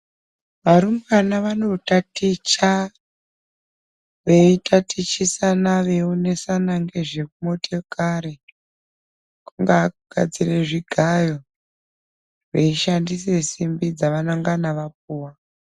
Varumbwana vanotaticha veitatichisana veionesana ngezvemotokari kungaa kugadzire zvigayo, veishandise simbi dzavanengana vapuwa